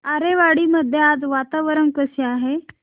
आरेवाडी मध्ये आज वातावरण कसे आहे